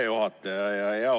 Hea juhataja!